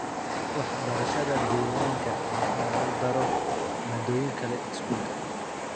Waxbarashada deegaanka waa in lagu daro maaddooyin kale iskuulka.